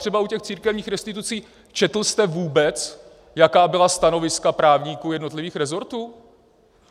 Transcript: Třeba u těch církevních restitucí - četl jste vůbec, jaká byla stanoviska právníků jednotlivých resortů?